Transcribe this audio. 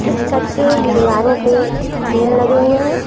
इस छत के दीवारों पे खिल लगे हुए हैं।